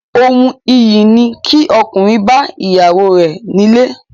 Ohun iyì ni kí ọkùnrin bá ìyàwó rẹ̀ nílé